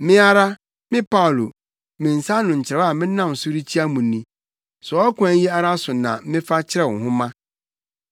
Me ara me Paulo, me nsa ano nkyerɛw a menam so rekyia mo ni. Saa ɔkwan yi ara so na mefa kyerɛw nhoma.